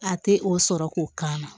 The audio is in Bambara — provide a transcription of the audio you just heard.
A tɛ o sɔrɔ k'o k'a na